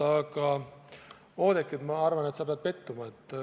Aga, Oudekki, ma arvan, sa pead pettuma.